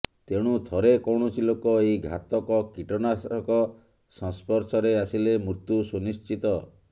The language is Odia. ତେଣୁ ଥରେ କୌଣସି ଲୋକ ଏହି ଘାତକ କୀଟନାଶକ ସସ୍ପର୍ଶରେ ଆସିଲେ ମୃତ୍ୟୁ ସୁନିଶ୍ଚିତ